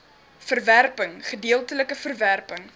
verwerping gedeeltelike verwerping